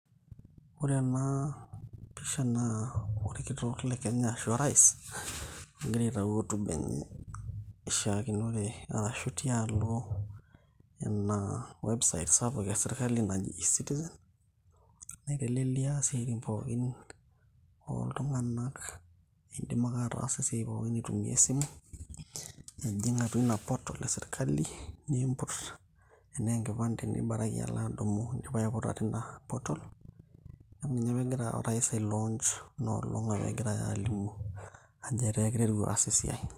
ore ena pisha naa orkitok le kenya ashu orais ogira aitau hotuba enye ishiakinore arashu tialo ina website sapuk e sirkali naji ecitizen naitelelia isiaitin pookin oltung'anak indim ake ataasa esiai pookin aitumia esimu nijing' atua ina portal e sirkali niimput tenaa enkipande nibaraki alo adumu indipa aiputa tina portal amu ninye apa egira orais ae launch inolong' apa egirae alimu ajo etaa kiteru aas esiai.